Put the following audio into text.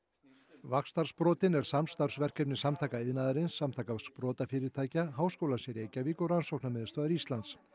vaxtarsprotinn er samstarfsverkefni Samtaka iðnaðarins Samtaka sprotafyrirtækja Háskólans í Reykjavík og Rannsóknarmiðstöðvar Íslands